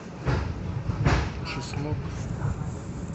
чеснок